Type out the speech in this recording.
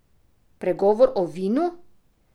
Pregovor o vinu?